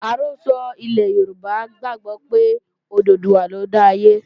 Àrọ́sọ ilẹ̀ Yorùbá gbàgbó pé Òdùduwà lọ dá ayé